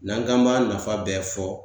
N'an k'an b'a nafa bɛɛ fɔ